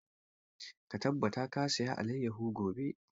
Ka tabbata ka saya alayyafo gobe!